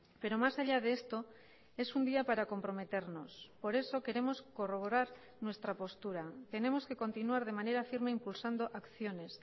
pero más allá de esto es un día para comprometernos por eso queremos corroborar nuestra postura tenemos que continuar de manera firme impulsando acciones